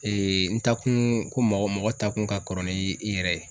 n taakun ko mɔgɔ mɔgɔ taakun ka kɔrɔ ni i yɛrɛ ye.